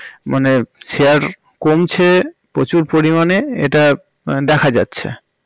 মানে share কমছে প্রচুর পরিমাণে এটা দেখা যাচ্ছে